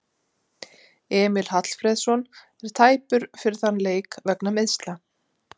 Emil Hallfreðsson er tæpur fyrir þann leik vegna meiðsla.